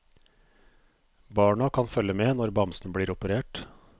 Barna kan følge med når bamsen blir operert.